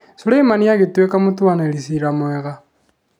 Suleimani agĩtuĩka mũtuanĩri ciira mwega